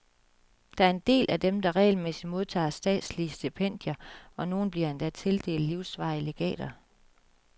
Der er en del af dem, der regelmæssigt modtager statslige stipendier, og nogle bliver endda tildelt livsvarige legater.